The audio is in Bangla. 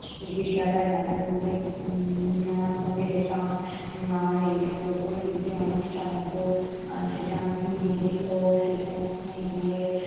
বিদ্যালয়ে মাঝে মধ্যে উম মামার সঙ্গে যেতাম উম মামা নিয়ে যেতো। কোনো যদি অনুষ্ঠান হতো। আহ সেখানে আমাকে নিয়ে যেত সেখানে গিয়ে